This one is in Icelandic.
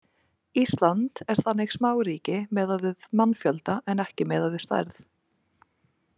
Ísland er þannig smáríki miðað við mannfjölda en ekki miðað við stærð.